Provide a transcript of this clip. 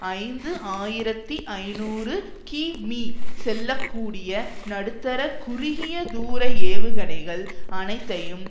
ஐந்து ஆயிரத்தி ஐநூறு கி மீ செல்ல கூடிய நடுத்தர குறுகிய தூர ஏவுகணைகள் அனைத்தையும்